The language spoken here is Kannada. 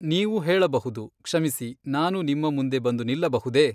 ನೀವು ಹೇಳಬಹುದು, ಕ್ಷಮಿಸಿ, ನಾನು ನಿಮ್ಮ ಮುಂದೆ ಬಂದು ನಿಲ್ಲಬಹುದೆ?